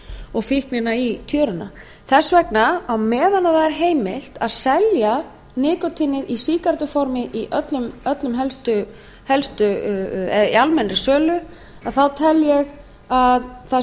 og fíknina í tjöruna þess vegna á meðan það er heimilt að selja nikótínið í sígarettuformi í almennri sölu tel ég að það